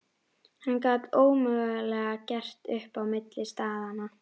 Hann gat ómögulega gert upp á milli staðanna.